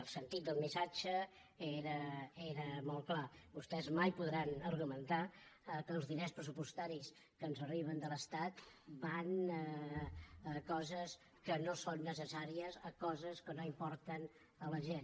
el sentit del missatge era molt clar vostès mai podran argumentar que els diners pressupostaris que ens arriben de l’estat van a coses que no són necessàries a coses que no importen a la gent